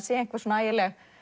sé einhver svona ægileg